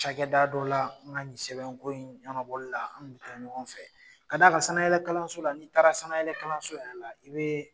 Ca kɛ da dɔw la n' ka nin sɛbɛnko in ɲɔgɔnbɔla an kun bɛ taa ɲɔgɔn fɛ, ka'a ka sanayɛlɛkalanso la n'i taara sanayɛlɛkalanso yɛrɛ la i bɛ